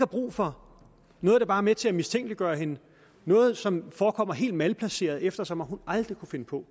brug for noget der bare med til at mistænkeliggøre hende noget som forekommer helt malplaceret eftersom hun aldrig kunne finde på